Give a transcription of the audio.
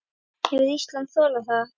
Hefði Ísland þolað það?